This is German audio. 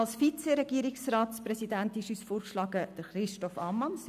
Als Vizeregierungsratspräsidenten schlagen wir Christoph Ammann vor.